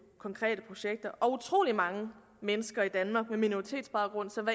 konkrete projekter og utrolig mange mennesker i danmark med minoritetsbaggrund som